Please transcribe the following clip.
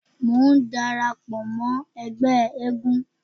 Mò ń dara pọ̀ mọ́ ẹgbẹ́ eégún.